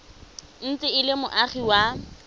ntse e le moagi wa